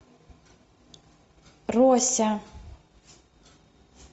рося